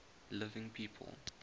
living people